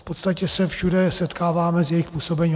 V podstatě se všude setkáváme s jejich působením.